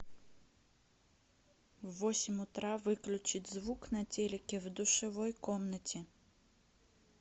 в восемь утра выключить звук на телике в душевой комнате